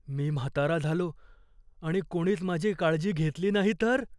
मी म्हातारा झालो आणि कोणीच माझी काळजी घेतली नाही तर?